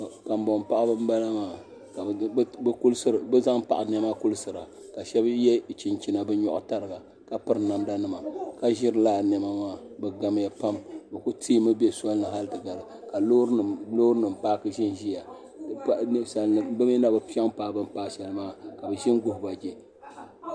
Kanboŋ paɣaba n bala maa ka bi zaŋ paɣa niɛma kulisiria ka shab yɛ chinchina bi nyoɣu tariga ka piri namda nima ka ʒiri laa niɛma maa bi gamya pam bi ku teemi ʒɛ soli ni hali ti gari ka loori nim paaki ʒɛnʒɛya bi kpuɣula ninsal nima bi mii na bi piɛ paai bi ni paai shɛli maa ka bi ʒini guhuba jɛ